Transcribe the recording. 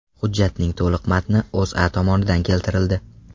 Hujjatning to‘liq matni O‘zA tomonidan keltirildi .